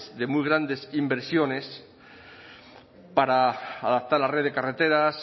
de muy grandes inversiones para adaptar la red de carreteras